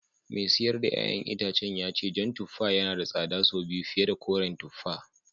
Mai sayar da ’ya’yan itacen ya ce jan tuffa yana da tsada sau biyu fiye da koren tuffa